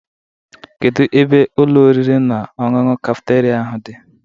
Kedu ebe Ụlọ oriri na ọṅụṅụ kafeteria ahụ dị?